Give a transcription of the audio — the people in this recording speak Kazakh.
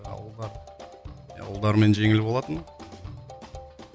ал ұлға иә ұлдармен жеңіл болатын